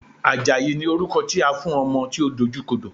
Àjàyí ni orúkọ tí a fún ọmọ tí ó dojú kodò.